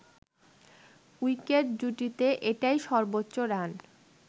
wicket জুটিতে এটাই সর্বোচ্চ রান